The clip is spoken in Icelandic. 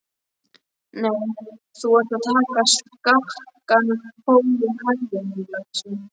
Nei, þú ert að taka skakkan pól í hæðina, lagsi.